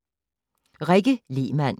Rikke Lehmann: